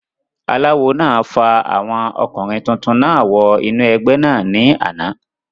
aláwo náà fa àwọn ọkùnrin tuntun náà wọ inú ẹgbẹ́ náà ní àná